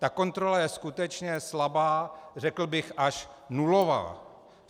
Ta kontrola je skutečně slabá, řekl bych až nulová.